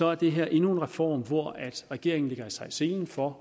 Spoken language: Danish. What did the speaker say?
er det her endnu en reform hvor regeringen lægger sig i selen for